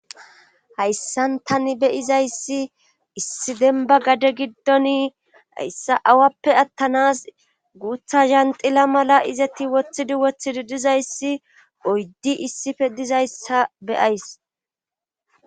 Hayssan tani beyizayssi issi denba gade giddoni hayssa awappe attanas guutha zanxila mala izati wothidi wothidi dizayssi oyddi issife dizayssa beyays